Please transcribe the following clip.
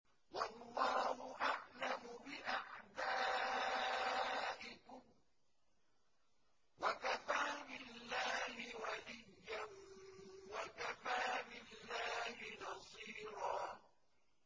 وَاللَّهُ أَعْلَمُ بِأَعْدَائِكُمْ ۚ وَكَفَىٰ بِاللَّهِ وَلِيًّا وَكَفَىٰ بِاللَّهِ نَصِيرًا